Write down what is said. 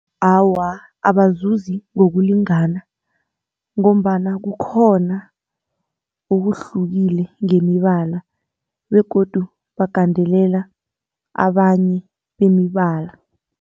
Awa, abazuzi ngokulingana ngombana kukhona okuhlukileko ngemibala begodu bagandelela abanye bemibala.